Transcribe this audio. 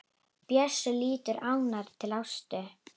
Bjössi lítur ánægður til Ásu.